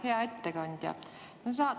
Hea ettekandja!